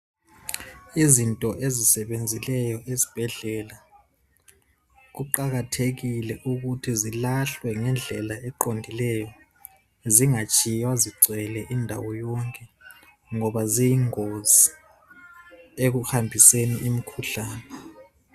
Izinto ezisebenzileyo esibhedlela kuqakathekile ukuthi zilahlwe ngendlela eqondileyo, zingatshiywa zigcwele indawo yonke ngoba ziyingozi ekuhambiseni imikhuhlane.